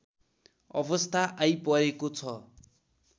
अवस्था आइपरेको छ